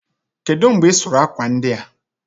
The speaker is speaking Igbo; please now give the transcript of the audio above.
kedụ mgbe ị sụrụ akwa ndị a?